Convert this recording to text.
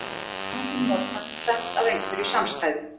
Par er notað um tvennt af einhverju samstæðu.